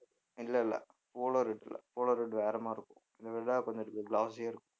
இல்லை இல்லை polo red இல்லை polo red வேற மாதிரி இருக்கும் இதைவிட கொஞ்சம் glossy யா இருக்கும்